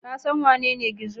Ka san wanene Gizo?